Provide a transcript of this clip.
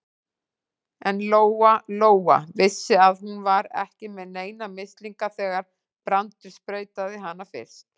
En Lóa-Lóa vissi að hún var ekki með neina mislinga þegar Brandur sprautaði hana fyrst.